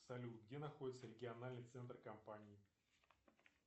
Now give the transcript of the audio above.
салют где находится региональный центр компании